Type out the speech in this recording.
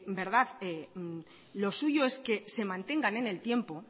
lo suyo es que se mantengan en el tiempo